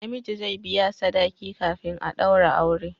Na miji zai biya sadaki kafin a daura aure